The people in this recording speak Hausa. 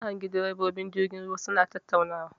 Na hangi ɗirebobin jirgin ruwa suna tattaunawa.